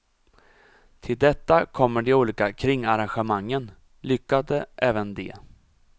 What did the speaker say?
Till detta kommer de olika kringarrangemangen, lyckade även de.